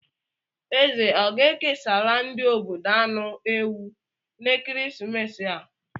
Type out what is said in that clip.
Eze ọ ga-ekesara ndị obodo anụ ewu n'ekeresimesi a?